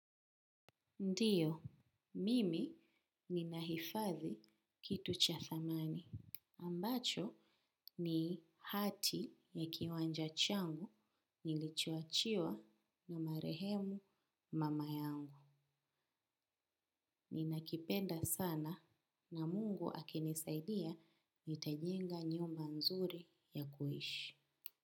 Ndiyo, mimi ni nahifadhi kitu cha thamani. Ambacho ni hati ya kiwanja changu nilichuoachiwa na marehemu mama yangu. Ninakipenda sana na mungu akinisaidia nitajenga nyumba nzuri ya kuishi.